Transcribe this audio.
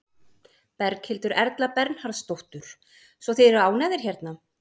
Berghildur Erla Bernharðsdóttur: Svo þið eru ánægðir hérna?